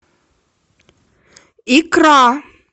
икра